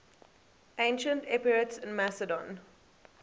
ancient epirotes in macedon